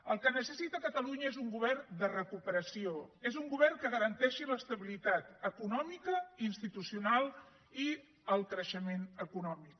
el que necessita catalunya és un govern de recuperació és un govern que garanteixi l’estabilitat econòmica institucional i el creixement econòmic